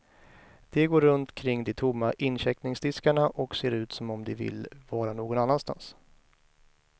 De går runt kring de tomma incheckningsdiskarna och ser ut som om de vill vara någon annanstans.